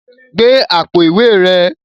Gbe àpò ìwé rẹ